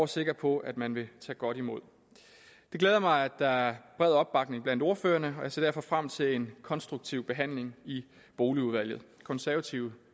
sikker på at man vil tage godt imod det glæder mig at der er bred opbakning blandt ordførerne og jeg ser derfor frem til en konstruktiv behandling i boligudvalget konservative